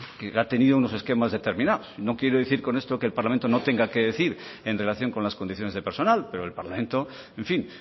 que ha tenido unos esquemas determinados no quiero decir con esto que el parlamento no tenga qué decir en relación con las condiciones de personal pero el parlamento en fin